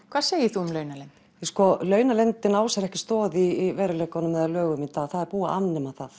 hvað segir þú um launaleynd launaleynd á sér ekki stoð í raunveruleikanum í dag það er búið að afnema það